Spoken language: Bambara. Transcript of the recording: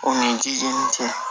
O ni ji ni cɛ